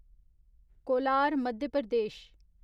Kolar Madhya Pradesh